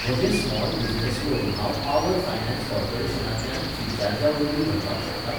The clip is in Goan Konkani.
म्हजें स्मॉल बिझनेस लोन हांव पावर फायनान्स कॉर्पोरेशनांतल्यान फ्रिचार्जावरवीं परत भरपाक शकतां?